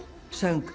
söng